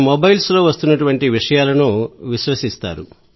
మొబైల్లో వస్తున్న విషయాలను విశ్వసిస్తారు